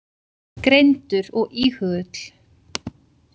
Greindur og íhugull.